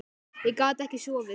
Ég gat ekki sofið.